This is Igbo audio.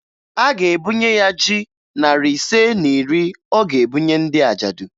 A ga-ebunye ya ji narị ise na iri ọ ga-ebunye ndị ajadụ